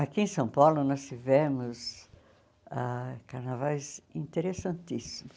Aqui em São Paulo nós tivemos ah carnavais interessantíssimos.